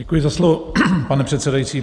Děkuji za slovo, pane předsedající.